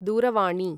दूरवाणी